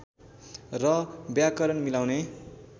र व्याकरण मिलाउने